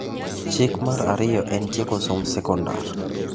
Chik mar ariyo en tieko somb sekondari.